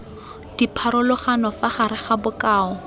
dipharologano fa gare ga bokao